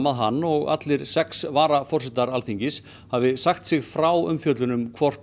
að hann og allir sex varaforsetar Alþingis hafi sagt sig frá umfjöllun um hvort